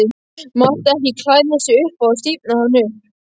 Mátti ekki klæða sig upp á þá stífnaði hann upp.